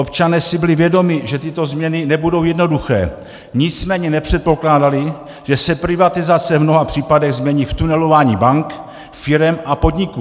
Občané si byli vědomi, že tyto změny nebudou jednoduché, nicméně nepředpokládali, že se privatizace v mnoha případech změní v tunelování bank, firem a podniků.